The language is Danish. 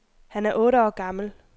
Han er otte år gammel.